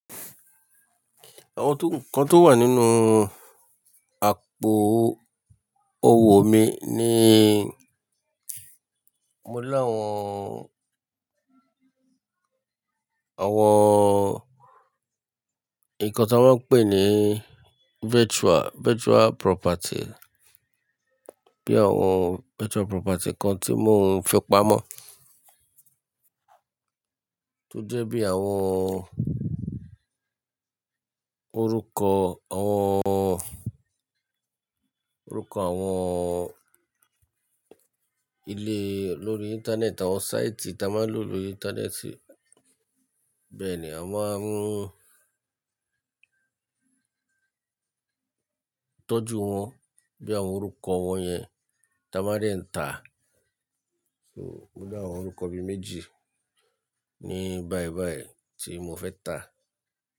Àwọn tó-- nǹkan tó wà nínú àpò owó mi ni mo láwọn, àwọn nǹkan tí wọ́n ń pè ní virtual, virtual property. Bí i àwọn virtual property kan tí mò ń fi pamọ́. Tójẹ bí i àwọn orúkọ, àwọn orúkọ àwọn ilé lórí ìńtánẹ́ẹ̀tì, àwọn sáìtì tí a máa ń lò lórí ìńtánẹ́ẹ̀tì. Bẹ́ẹ̀ ni, a máa ń tọ́jú wọn bí i àwọn orúkọ wọn yẹn ta máa dẹ ń tà. So, mo dá àwọn orúkọ bí i méjì ní báì báì tí mo fẹ́ tà.